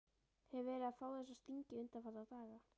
Hef verið að fá þessa stingi undanfarna daga.